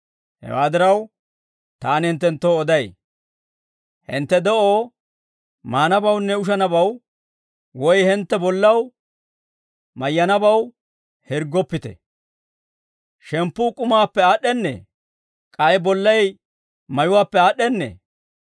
«Hewaa diraw, taani hinttenttoo oday; hintte de'oo maanabawunne ushanabaw, woy hintte bollaw mayyanabaw hirggoppite; shemppuu k'umaappe aad'd'ennee? K'ay bollay mayuwaappe aad'd'ennee?